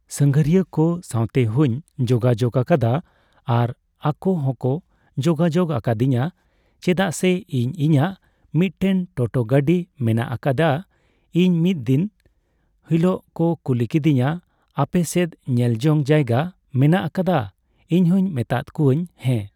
ᱥᱟᱜᱷᱟᱨᱤᱭᱟᱹ ᱠᱚ ᱥᱟᱣᱛᱮ ᱦᱚᱸᱧ ᱡᱳᱜᱟᱡᱳᱜᱽ ᱟᱠᱟᱫᱟ ᱟᱨ ᱟᱠᱚ ᱦᱚᱸᱠᱚ ᱡᱳᱜᱟᱡᱳᱜᱽ ᱟᱠᱟᱫᱤᱧᱟ ᱪᱮᱫᱟᱜ ᱥᱮ ᱤᱧ ᱤᱧᱟᱹᱜ ᱢᱤᱫ ᱴᱮᱱ ᱴᱳᱴᱳ ᱜᱟᱹᱰᱤ ᱢᱮᱱᱟᱜ ᱟᱠᱟᱫᱟ ᱤᱧ ᱢᱤᱫ ᱫᱤᱱ ᱦᱤᱞᱳᱜ ᱠᱚ ᱠᱩᱞᱤ ᱠᱤᱫᱤᱧᱟ ᱟᱯᱮ ᱥᱮᱫ ᱧᱮᱞ ᱡᱚᱝ ᱡᱟᱭᱜᱟ ᱢᱮᱱᱟᱜ ᱟᱠᱟᱫᱟ ᱤᱧᱦᱚᱸᱧ ᱢᱮᱛᱟᱫ ᱠᱚᱣᱟᱧ ᱦᱮᱸ